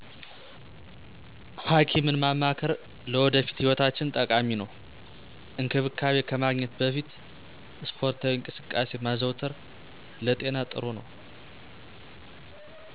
ሐኪምን ማማከር ለወደፊት ህይወታችን ጠቃሚ ነው። እንክብካቤ ከማግኘት በፊት ስፖርታዊ እንቅስቃሴ ማዘውተር ለጤና ጥሩ ነው።